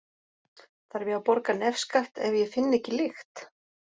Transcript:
Þarf ég að borga nefskatt ef ég finn ekki lykt?